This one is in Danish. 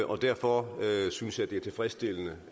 og derfor synes jeg det er tilfredsstillende